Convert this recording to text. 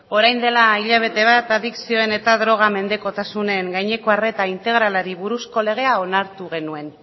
orain dela hilabete bat adikzioen eta droga mendekotasunen gaineko arreta integralari buruzko legea onartu genuen